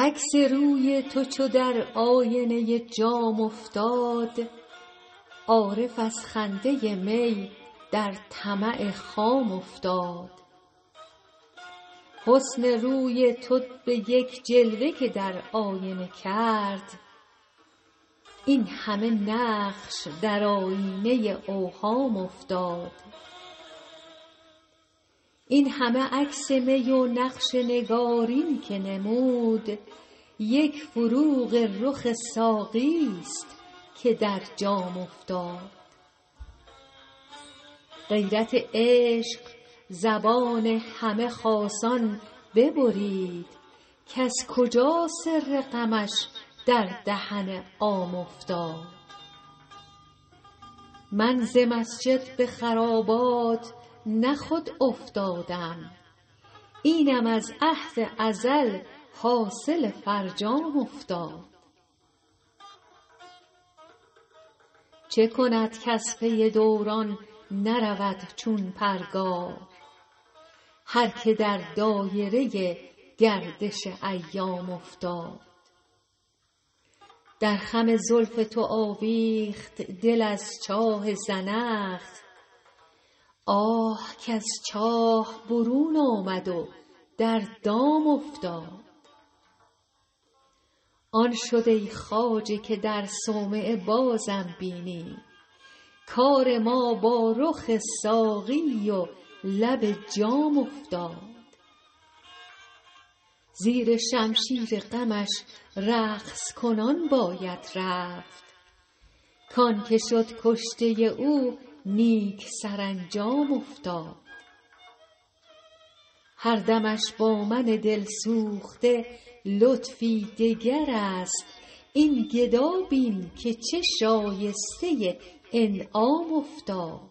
عکس روی تو چو در آینه جام افتاد عارف از خنده می در طمع خام افتاد حسن روی تو به یک جلوه که در آینه کرد این همه نقش در آیینه اوهام افتاد این همه عکس می و نقش نگارین که نمود یک فروغ رخ ساقی ست که در جام افتاد غیرت عشق زبان همه خاصان ببرید کز کجا سر غمش در دهن عام افتاد من ز مسجد به خرابات نه خود افتادم اینم از عهد ازل حاصل فرجام افتاد چه کند کز پی دوران نرود چون پرگار هر که در دایره گردش ایام افتاد در خم زلف تو آویخت دل از چاه زنخ آه کز چاه برون آمد و در دام افتاد آن شد ای خواجه که در صومعه بازم بینی کار ما با رخ ساقی و لب جام افتاد زیر شمشیر غمش رقص کنان باید رفت کـ آن که شد کشته او نیک سرانجام افتاد هر دمش با من دل سوخته لطفی دگر است این گدا بین که چه شایسته انعام افتاد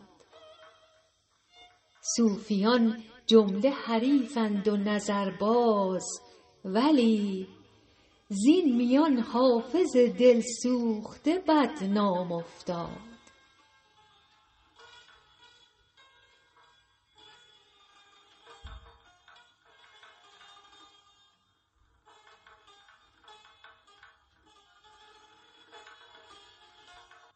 صوفیان جمله حریفند و نظرباز ولی زین میان حافظ دل سوخته بدنام افتاد